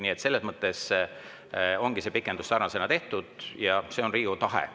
Nii et selles mõttes ongi see pikendus sarnasena tehtud ja see on Riigikogu tahe.